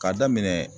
K'a daminɛ